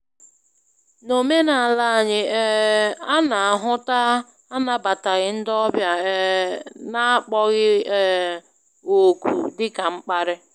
N'omenala anyị, um ana-ahụta anabataghị ndị ọbịa um n'akpọghị um òkù dị ka mkparị.